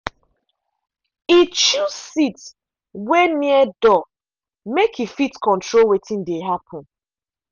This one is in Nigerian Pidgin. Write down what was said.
e choose seat wey near door make e fit control wetin dey happen.